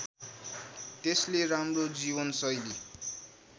त्यसले राम्रो जीवनशैली